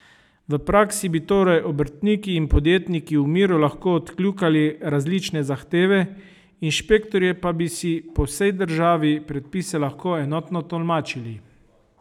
V praksi bi torej obrtniki in podjetniki v miru lahko odkljukali različne zahteve, inšpektorji pa bi si po vsej državi predpise lahko enotno tolmačili.